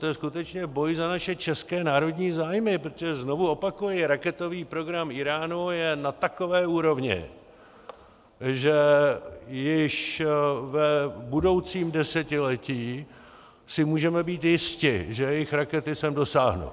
To je skutečně boj za naše české národní zájmy, protože, znovu opakuji, raketový program Íránu je na takové úrovni, že již v budoucím desetiletí si můžeme být jisti, že jejich rakety sem dosáhnou.